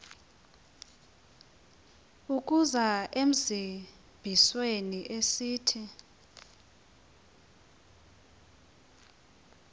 ukuza ezimbizweni esithi